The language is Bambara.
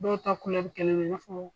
Dɔw ta kɛlen do i n'a fɔ